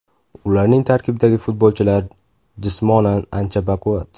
Ularning tarkibidagi futbolchilar jismonan ancha baquvvat.